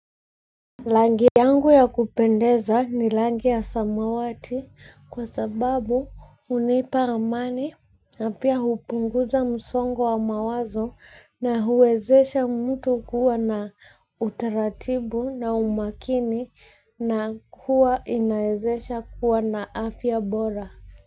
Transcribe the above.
Rangi yangu ya kupendeza ni rangi ya samawati kwa sababu hunipa amani na pia hupunguza msongo wa mawazo na huwezesha mtu kuwa na utaratibu na umakini na kuwa inawezesha kuwa na afya bora.